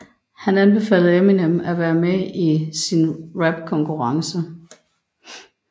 Han anbefalede Eminem at være med i sin rapkonkurrence